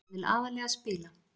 Ég vil aðallega spila.